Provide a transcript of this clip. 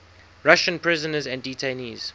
russian prisoners and detainees